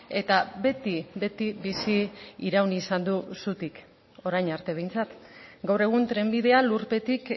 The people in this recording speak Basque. eta beti beti bizi iraun izan du zutik orain arte behintzat gaur egun trenbidea lurpetik